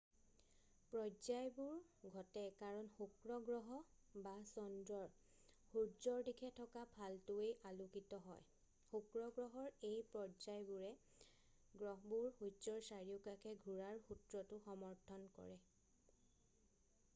পৰ্যায়বোৰ ঘটে কাৰণ শুক্ৰ গ্ৰহ বা চন্দ্ৰৰ সূৰ্যৰ দিশে থকা ফালটোৱেই আলোকিত হয়। শুক্ৰ গ্ৰহৰ এই পৰ্যায়বোৰে গ্ৰহবোৰ সূৰ্যৰ চাৰিওকাষে ঘূৰাৰ সূত্ৰটো সমৰ্থন কৰে।